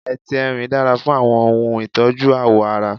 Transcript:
Etí Erin dára fún àwọn ohun ìtọ́jú ààwọ̀ ara.